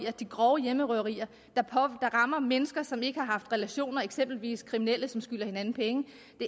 at de grove hjemmerøverier der rammer mennesker som ikke har haft relationer eksempelvis kriminelle der skylder hinanden penge